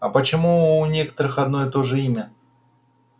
а почему у некоторых одно и то же имя